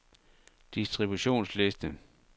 distributionsliste